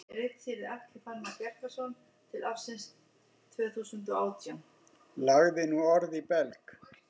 Lagði nú orð í belg.